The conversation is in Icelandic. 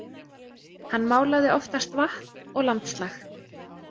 Hann málaði oftast vatn og landslag.